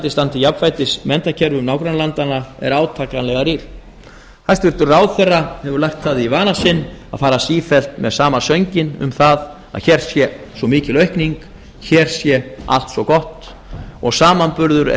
standi jafnfætis menntakerfum nágrannalandanna er átakanlega rýr hæstvirtur ráðherra hefur lagt það í vana sinn að far sífellt með sama sönginn um það að hér sé svo mikil aukning hér sé allt svo gott og samanburður er